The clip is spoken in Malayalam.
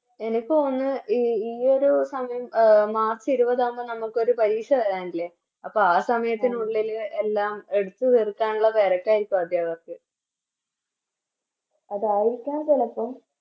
എനിക്ക് തോന്നിന്ന് ഈ ഈയൊരു സമയം March ഇരുപതാവുമ്പോ നമുക്കൊരു പരീക്ഷ വരാനില്ല അപ്പൊ ആ സമയത്ത് നമ്മളൊരു എല്ലാം എടുത്തു തീർക്കാനുള്ള തെരക്കാരിക്കും അദ്ധ്യാപകർക്ക് അതായിരിക്കാം ചെലപ്പോ